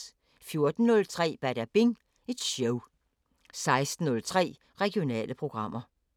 14:03: Badabing Show 16:03: Regionale programmer